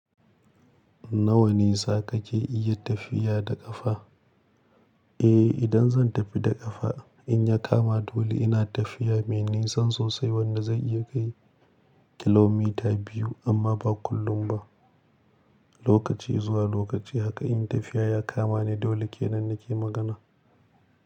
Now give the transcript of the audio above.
Nawa ne za ka ke iya tafiya da ƙafa? Eh, idan zan tafi da ƙafa, in ya kama dole ina tafiya, mene ni san sosai wanda zai iya kai kilomita biyu amma ba kullum ba. Lokaci zuwa lokaci haka in tafiya ya kama ni dole ke nan nake magana.